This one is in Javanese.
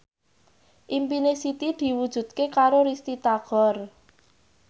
impine Siti diwujudke karo Risty Tagor